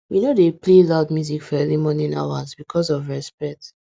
we no dey play loud music for early morning hours because of respect